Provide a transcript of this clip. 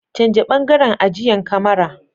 Canja bangaren ajiyan kamara.